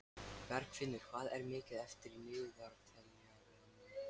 Bergfinnur, hvað er mikið eftir af niðurteljaranum?